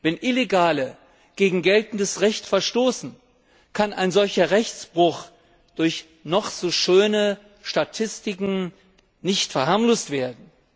Wenn Illegale gegen geltendes Recht verstoßen, kann ein solcher Rechtsbruch durch noch so schöne Statistiken nicht verharmlost werden.